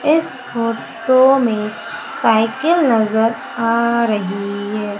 इस फोटो में साइकिल नजर आ रही है।